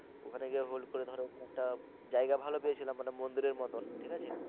ওখানে গিয়ে ভুল করে ধর ওখানে একটা জায়গা ভালো পেয়েছিলাম মানে মন্দিরের মতন ঠিক আছে